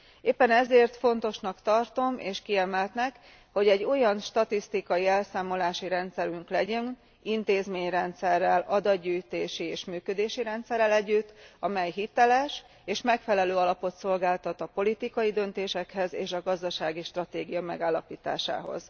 Éppen ezért fontosnak tartom és kiemeltnek, hogy egy olyan statisztikai elszámolási rendszerünk legyen intézményrendszerrel, adatgyűjtési és működési rendszerrel együtt, amely hiteles és megfelelő alapot szolgáltat a politikai döntésekhez és a gazdasági stratégia megállapításához.